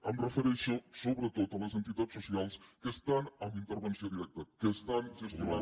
em refereixo sobretot a les entitats socials que estan amb intervenció directa que estan gestionant